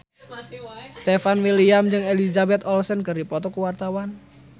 Stefan William jeung Elizabeth Olsen keur dipoto ku wartawan